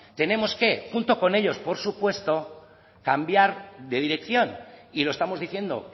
tenemos que junto con ellos por supuesto cambiar de dirección y lo estamos diciendo